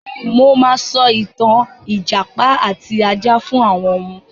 Mo máa sọ ìtà ìjàpá àti ajá fún àwọn ọmọ.